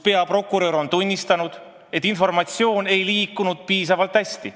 Peaprokurör on meile tunnistanud, et informatsioon ei liikunud piisavalt hästi.